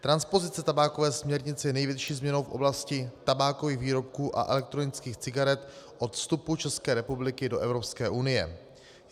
Transpozice tabákové směrnice je největší změnou v oblasti tabákových výrobků a elektronických cigaret od vstupu České republiky do Evropské unie.